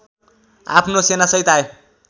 आफ्नो सेनासहित आए